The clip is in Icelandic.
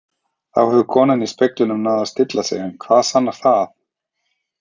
Þá hefur konan í speglinum náð að stilla sig en hvað sannar það?